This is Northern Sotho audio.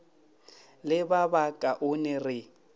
le ba ba kaonego re